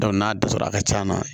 n'a dɛsɛra a ka can na